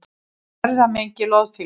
Erfðamengi loðfíla